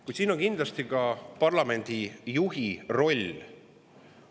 Kuid kindlasti on ka parlamendi juhi rolli.